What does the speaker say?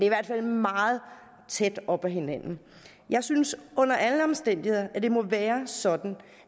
i hvert fald meget tæt op ad hinanden jeg synes under alle omstændigheder at det må være sådan